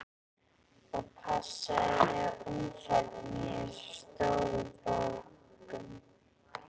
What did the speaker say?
Og passaðu þig á umferðinni í þessum stóru borgum.